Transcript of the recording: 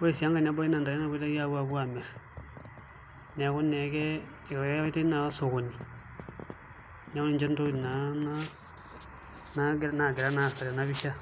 ore sii enkae nebaiki naa ntare naapoitoi aapuo amirr neeku naa ekeyaitai naa osokoni neeku ninche ntokitin naa naagira naa aasa tenapisha.